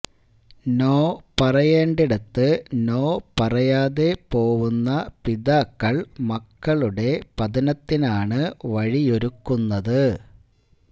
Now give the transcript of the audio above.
no പറയേണ്ടിടത്ത് no പറയാതെ പോവുന്ന പിതാക്കള് മക്കളുടെ പതനത്തിനാണ് വഴിയൊരുക്കുന്നത്